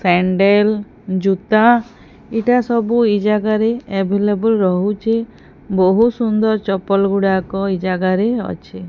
Sandal ଜୁତା ଇଟା ସବୁ ଏଇ ଜାଗାରେ ଆଭିଲେବୁଲ୍ ରହୁଛି ବୋହୁତ୍ ସୁନ୍ଦର୍ ଚପଲ୍ ଗୁଡାକ ଏ ଜାଗାରେ ଅଛେ।